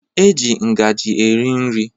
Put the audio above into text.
E ji ngaji eri nri